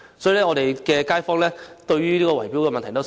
因此，我們的街坊十分關注圍標問題。